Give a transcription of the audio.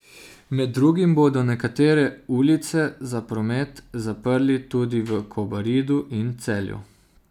Med drugim bodo nekatere ulice za promet zaprli tudi v Kobaridu in Celju.